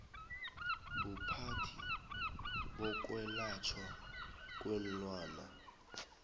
buphathi bokwelatjhwa kweenlwana